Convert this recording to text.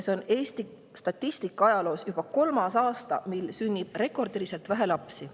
See on Eesti statistikaajaloos juba kolmas aasta, mil sünnib rekordiliselt vähe lapsi.